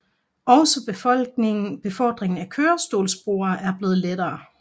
Også befordringen af kørestolsbrugere er blevet lettere